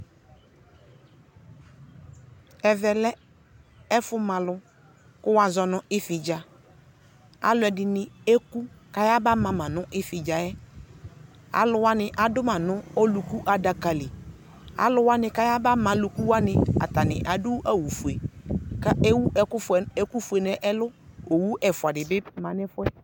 ɛmɛ lɛ ividza, alʊɛdɩ eku kʊ ayaba ma mă nʊ ividza yɛ, adʊ alʊwanɩ nʊ adaka li, alʊwanɩ kʊ ayaba ma alʊkunuwanɩ adʊ awu fue, kʊ ewu ɛkʊfue nʊ ɛlʊ, owu ɛfua dɩ bɩ ma nʊ ɛfʊ yɛ